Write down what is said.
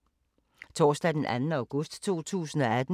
Torsdag d. 2. august 2018